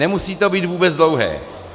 Nemusí to být vůbec dlouhé.